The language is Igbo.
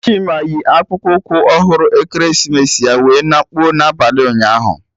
Chima yi akpụkpụ ụkwụ ọhụrụ ekeresimesi ya wee na kpụọ n'abalị ụnyaahụ